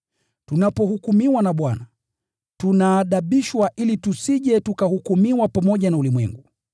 Tunapohukumiwa na Bwana, tunaadibishwa ili tusije tukahukumiwa pamoja na ulimwengu.